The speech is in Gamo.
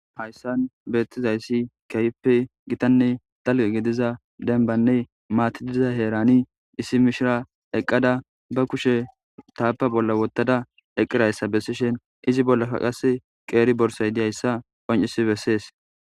Hayssan beettizayssi kehpe gitanne talqe gidiza denbanne maatididiza heerani issi mishira eqqada ba kushe taapa bolla wottada eqqirayssa bessishen izi bolla kaqas qeeri borsay diyayssa qoncisi bessees.